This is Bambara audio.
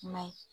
I m'a ye